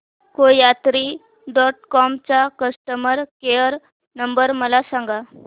कोयात्री dot com चा customer care number मला सांगा